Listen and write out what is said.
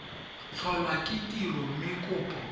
tlholwa ke tiro mme kopo